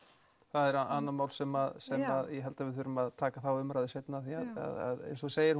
það er annað mál sem við þurfum að taka umræðu um seinna því eins og þú segir